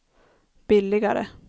billigare